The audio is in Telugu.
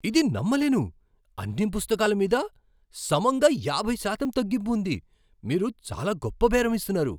ఇది నమ్మలేను! అన్ని పుస్తకాల మీద సమంగా యాభై శాతం తగ్గింపు ఉంది. మీరు చాలా గొప్ప బేరం ఇస్తున్నారు.